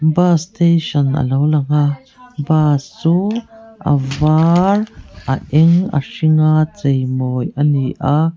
bus station alo lang a bus chu a var a eng a hring a chei mawi ani a.